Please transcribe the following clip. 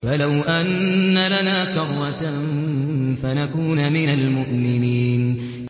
فَلَوْ أَنَّ لَنَا كَرَّةً فَنَكُونَ مِنَ الْمُؤْمِنِينَ